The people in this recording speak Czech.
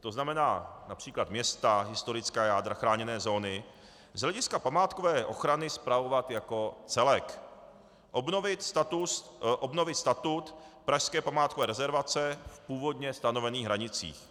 to znamená například města, historická jádra, chráněné zóny z hlediska památkové ochrany spravovat jako celek; obnovit statut pražské památkové rezervace v původně stanovených hranicích;